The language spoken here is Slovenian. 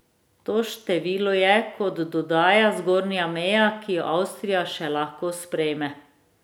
To število je, kot dodaja, zgornja meja, ki jo Avstrija še lahko sprejme.